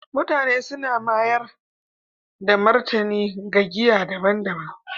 mutane suna mayar da martani ga giya daban-daban